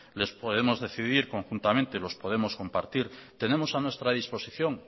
los podemos decidir conjuntamente los podemos compartir tenemos a nuestra disposición